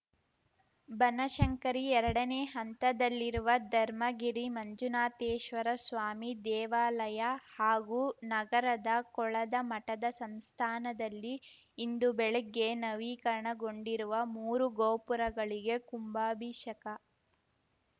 ಬನಶಂಕರಿ ಎರಡನೇ ಹಂತದಲ್ಲಿರುವ ಧರ್ಮಗಿರಿ ಮಂಜುನಾಥೇಶ್ವರ ಸ್ವಾಮಿ ದೇವಾಲಯ ಹಾಗೂ ನಗರದ ಕೊಳದ ಮಠದ ಸಂಸ್ಥಾನದಲ್ಲಿ ಇಂದು ಬೆಳಿಗ್ಗೆ ನವೀಕರಣಗೊಂಡಿರುವ ಮೂರು ಗೋಪುರಗಳಿಗೆ ಕುಂಭಾಭೀಷಕ